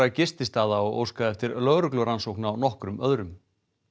gististaða og óskað eftir lögreglurannsókn á nokkrum öðrum